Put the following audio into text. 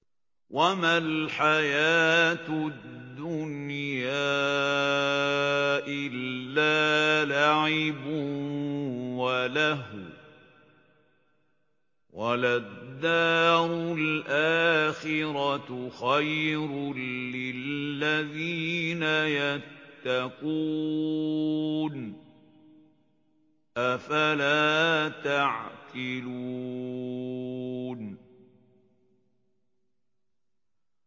وَمَا الْحَيَاةُ الدُّنْيَا إِلَّا لَعِبٌ وَلَهْوٌ ۖ وَلَلدَّارُ الْآخِرَةُ خَيْرٌ لِّلَّذِينَ يَتَّقُونَ ۗ أَفَلَا تَعْقِلُونَ